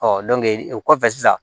o kɔfɛ sisan